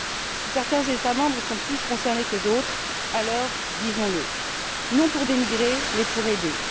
Si certains États membres sont plus concernés que d'autres, alors disons le, non pour dénigrer mais pour aider.